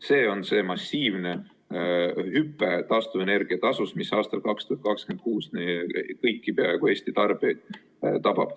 See on see massiivne hüpe taastuvenergia tasus, mis aastal 2026 peaaegu kõiki Eesti tarbijaid tabab.